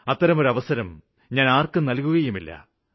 അത്തരം ഒരവസരം ഞാന് ആര്ക്കും നല്കുകയുമില്ല